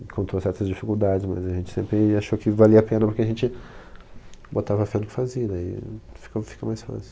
Encontrou certas dificuldades, mas a gente sempre achou que valia a pena, porque a gente botava a fé no que fazia, daí ficou, fica mais fácil.